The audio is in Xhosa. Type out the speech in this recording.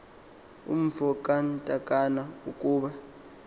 umfo kantakana ukuba